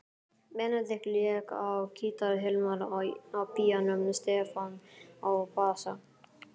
Benedikt lék á gítar, Hilmar á píanó, Stefán á bassa.